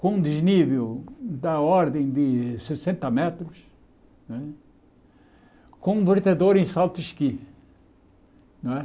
com desnível da ordem de sessenta metros né, com um em. Não é